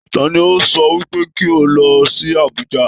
Tani o sọ wípé kí o lọ sí Abùjá?